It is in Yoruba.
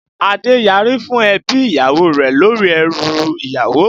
Adé yari fún ebi ìyàwó rẹ̀ lórí ẹrú ìyàwó